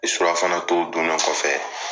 surafana tow dunne kɔfɛ